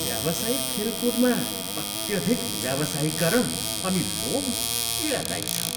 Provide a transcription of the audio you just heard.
व्यावसायिक खेलकुदमा अत्यधिक व्यावसायीकरण अनि लोभ पीडादायी छ।